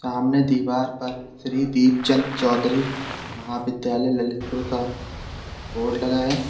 सामने दीवार पर श्री दीपचंद चौधरी महाविद्यालय ललितपुर का बोर्ड लगा है।